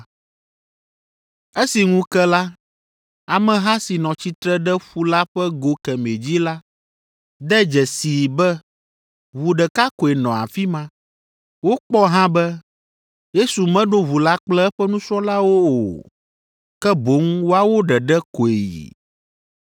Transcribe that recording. Esi ŋu ke la, ameha si nɔ tsitre ɖe ƒu la ƒe go kemɛ dzi la de dzesii be ʋu ɖeka koe nɔ afi ma. Wokpɔ hã be, Yesu meɖo ʋu la kple eƒe nusrɔ̃lawo o, ke boŋ woawo ɖeɖe koe yi.